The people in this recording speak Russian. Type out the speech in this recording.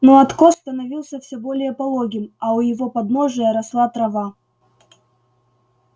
но откос становился все более пологим а у его подножия росла трава